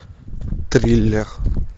триллер